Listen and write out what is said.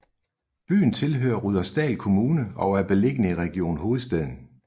Byen tilhører Rudersdal Kommune og er beliggende i Region Hovedstaden